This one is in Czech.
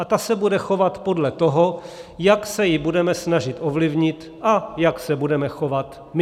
A ta se bude chovat podle toho, jak se ji budeme snažit ovlivnit a jak se budeme chovat my.